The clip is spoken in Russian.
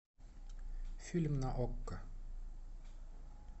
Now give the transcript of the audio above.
фильм на окко